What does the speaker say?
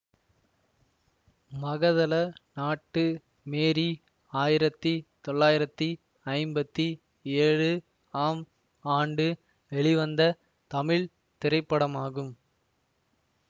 Magathala Nattu Mary ஆயிரத்தி தொள்ளாயிரத்தி ஐம்பத்தி ஏழு ஆம் ஆண்டு வெளிவந்த தமிழ் திரைப்படமாகும்